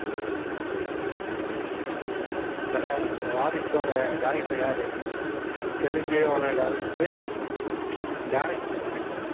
தல, உங்க வாரிசோட director யாரு? தெலுங்கோட director ரு director ங்க